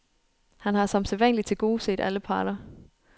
Han har som sædvanlig tilgodeset alle parter.